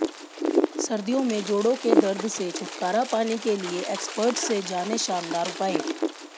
सर्दियों में जोड़ों के दर्द से छुटकारा पाने के लिए एक्सपर्ट से जानें शानदार उपाय